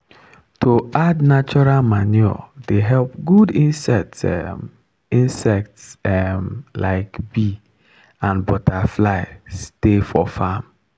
to add natural manure dey help good insects um insects um like bee and butterfly stay for farm.